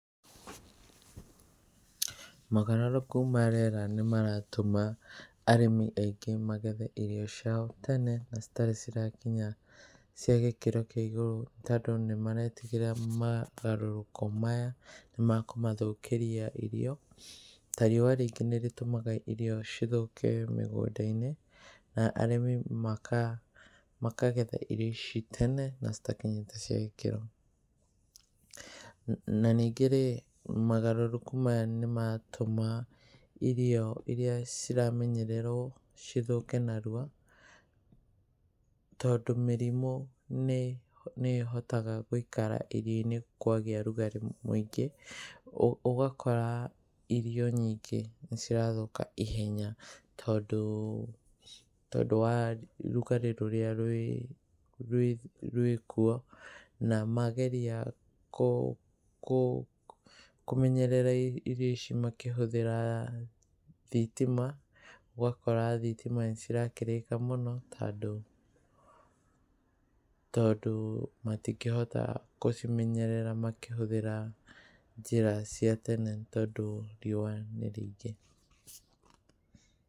Mogarũrũku ma rĩera nĩ maratũma arĩmi aingĩ magethe irio ciao tene na citarĩ cirakinya cia gĩkĩro kĩa igũrũ, tondũ nĩ maretigĩra mogarũrũku maya nĩ makũmathũkĩria irio. Ta rĩua rĩngĩ nĩ rĩtũmaga irio cithũke mĩgũnda-inĩ, na arĩmi makagetha irio ici tene na citakinyĩte cia gĩkĩro. Na ningĩ rĩ, mogarũrũku maya nĩ maratũma irio iria ciramenyererwo cithũke narua tondũ mĩrimu nĩ ĩhotaga gũikara irio-inĩ kwagĩa ũrugarĩ mũingĩ. Ũgakora irio nyingĩ nĩ cirathũka ihenya tondũ wa rugarĩ rũrĩa rwĩkwo na mageria kũmenyerera irio ici makĩhũthĩra thitima, ũgakora thitima nĩ cirakĩrĩka mũno tondũ matingĩhota gũcimenyerera makĩhũthira njĩra cia tene tondũ rĩua nĩ rĩingĩ.